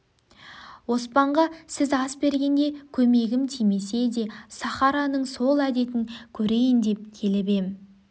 оспанға сіз ас бергенде көмегім тимесе де сахараның сол әдетін көрейін деп келіп ем